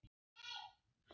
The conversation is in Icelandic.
Það má hún bóka.